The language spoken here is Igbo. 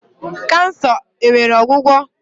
Kansa enwere ọgwụgwo?